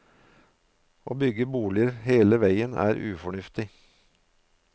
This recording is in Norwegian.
Å bygge boliger hele veien er ufornuftig.